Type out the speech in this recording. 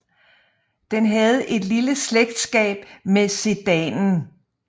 Den havde et lille slægtskab med sedanen